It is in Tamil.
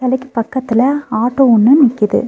கடைக்கு பக்கத்துல ஆட்டோ ஒன்னு நிக்கிது.